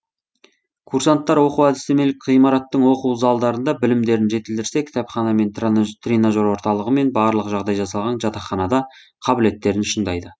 курсанттар оқу әдістемелік ғимараттың оқу залдарында білімдерін жетілдірсе кітапхана мен тренажер орталығы мен барлық жағдай жасалған жатақханада қабілеттерін шыңдайды